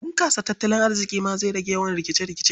Bunƙasa tattalin arziƙi ma zai rage yawan rikice-rikice.